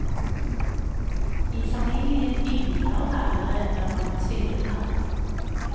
I familien yngler det allerede av tvillinger.